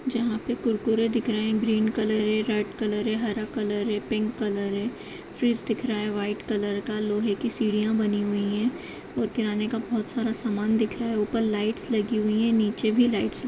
जहाँ पे कुरकुरे दिख रहे हैं ग्रीन कलर है रेड कलर है हरा कलर है पिंक कलर है। फ्रीज दिख रहा है वाइट कलर का। लोहे की सीढ़ियाँ की बनी हुई हैं और किराने का बोहोत सारा सामान दिख रहा है ऊपर लाइटस लगी हुई हैं नीचे भी लाइट्स लगी --